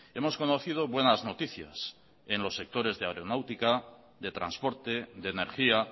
hemos conocido buenas noticias en los sectores de aeronáutica de transporte de energía